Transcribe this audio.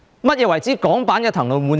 何謂港版的"騰籠換鳥"？